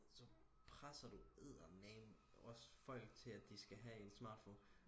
så presser du eddermame også folk til at de skal have en smartphone